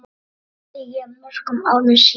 spurði ég mörgum árum síðar.